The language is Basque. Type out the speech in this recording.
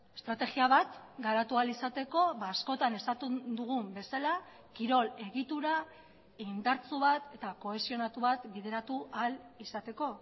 estrategia bat garatu ahal izateko askotan esaten dugun bezala kirol egitura indartsu bat eta kohesionatu bat bideratu ahal izateko